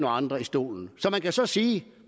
andre i stolene man kan så sige